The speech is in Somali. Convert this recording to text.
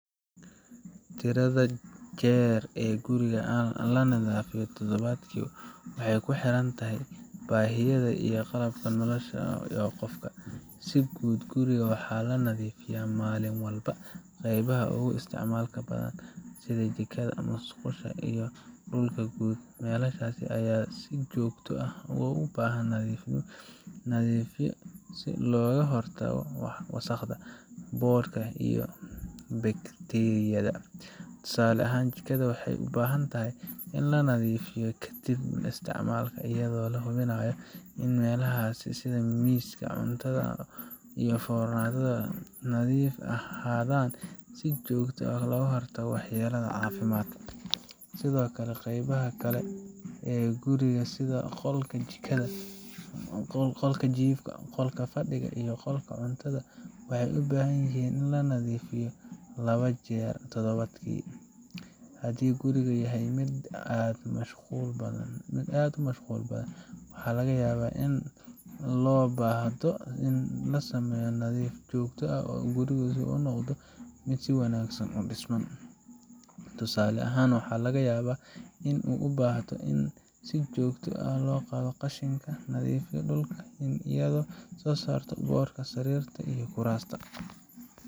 Tirada jeer ee guriga la nadiifiyo todobaadkii waxay ku xiran tahay baahiyaha iyo qaabka nolosha ee qofka. Si guud, guriga waxaa la nadiifiyaa maalin walba qaybaha ugu isticmaalka badan sida jikada, musqusha, iyo dhulka guud. Meelahaas ayaa si joogto ah u baahan in la nadiifiyo si looga hortago wasakhda, boodhka, iyo bakteeriyada. Tusaale ahaan, jikada waxay u baahan tahay in la nadiifiyo kadib isticmaalka, iyadoo la hubinayo in meelaha sida miiska cuntada iyo foornada ay nadiif ahaadaan si looga hortago waxyeelada caafimaadka. Sidoo kale, qeybaha kale ee guriga sida qolka jiifka, qolka fadhiga, iyo qolka cuntada waxay u baahan yihiin in la nadiifiyo laba jeer toddobaadkii. Haddii gurigu yahay mid aad u mashquul badan, waxaa laga yaabaa in loo baahdo in la sameeyo nadiifin joogto ah si gurigu u noqdo mid si wanaagsan u dhisan. Tusaale ahaan, waxa laga yaabaa in aad u baahato in aad si joogto ah u qaaddo qashinka, u nadiifiso dhulka, iyo inaad ka saarto boodhka sariirta iyo kuraasta.